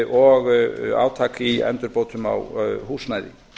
og átak í endurbótum á húsnæði